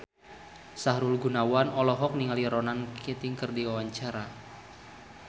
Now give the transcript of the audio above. Sahrul Gunawan olohok ningali Ronan Keating keur diwawancara